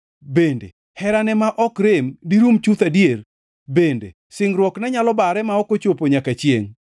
Bende herane ma ok rem dirum chuth adier? Bende singruokne nyalo bare ma ok ochopo nyaka chiengʼ?